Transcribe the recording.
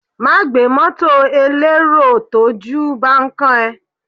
Má gbé mọ́tọ̀ elérò tójú bán kán ẹ.